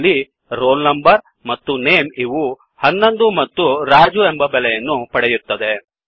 ಇಲ್ಲಿ roll number ಮತ್ತು name ಇವು 11 ಮತ್ತು ರಾಜು ಎಂಬ ಬೆಲೆ ಪಡೆಯುತ್ತದೆ